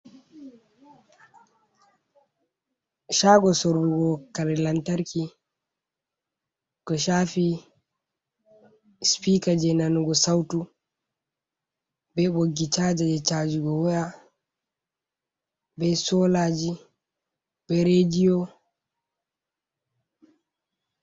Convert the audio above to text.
Shago sorrugo kare lantarki, ko chaafi sipika je nanugo sautu be ɓoggi chaaja jee chaajugo waya, be soolaji be rediyo.